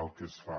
el que es fa